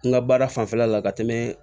N ka baara fanfɛla la ka tɛmɛ